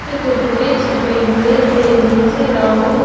के कुरकुरे छपे हुए हैं नीचे राहुल --